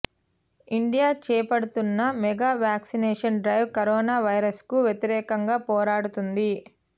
India చేపడుతోన్న mega vaccination drive corona వైరస్కు వ్యతిరేకంగా పోరాడుతుంది